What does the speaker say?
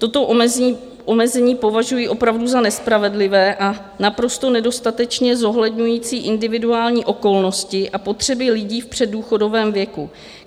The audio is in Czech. Toto omezení považuji opravdu za nespravedlivé a naprosto nedostatečně zohledňující individuální okolnosti a potřeby lidí v předdůchodovém věku.